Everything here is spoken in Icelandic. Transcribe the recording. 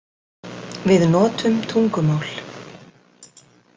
Við notum tungumál.